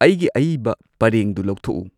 ꯑꯩꯒꯤ ꯑꯏꯕ ꯄꯔꯦꯡꯗꯨ ꯂꯧꯊꯣꯛꯎ